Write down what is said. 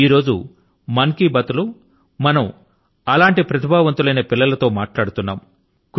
ఈ రోజు మన్ కీ బాత్ మనసు లో మాట కార్యక్రమం లో మనం అటువంటి ప్రతిభావంతులైన పిల్లల తో మాట్లాడుతున్నాము